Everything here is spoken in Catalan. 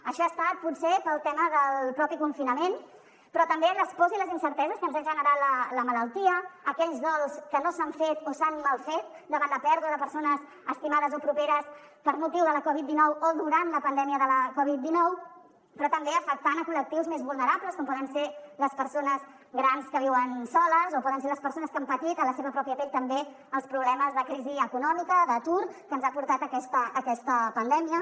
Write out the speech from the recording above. això ha estat potser pel tema del propi confinament però també les pors i les incerteses que ens han generat la malaltia aquells dols que no s’han fet o s’han mal fet davant la pèrdua de persones estimades o properes per motiu de la covid dinou o durant la pandèmia de la covid dinou però també afectant col·lectius més vulnerables com poden ser les persones grans que viuen soles o poden ser les persones que han patit en la seva pròpia pell també els problemes de crisi econòmica o d’atur que ens ha portat a aquesta pandèmia